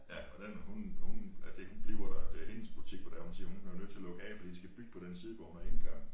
Ja og den med hun hun ja det hun bliver der det hendes butik hvor det er hun siger hun bliver nødt til at lukke af fordi de skal bygge på den side hvor hun har indgang